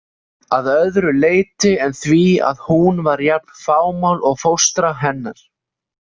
Að öðru leyti en því að hún var jafn fámál og fóstra hennar.